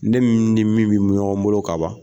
Ne ni min be ɲɔgɔn bolo ka ban